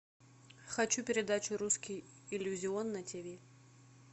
хочу передачу русский иллюзион на тиви